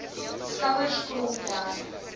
skouers krom trek